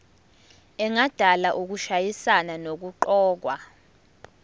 engadala ukushayisana nokuqokwa